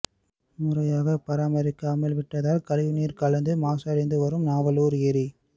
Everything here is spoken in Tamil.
முறையாக பராமரிக்காமல் விட்டதால் கழிவுநீர் கலந்து மாசடைந்து வரும் நாவலூர் ஏரி